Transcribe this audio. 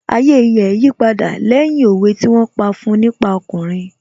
Ayé rẹ̀ yí padà lẹ́yìn òwe tí wón pa fún un nípa ọkùnrin